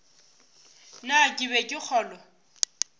na ke be ke kgolwa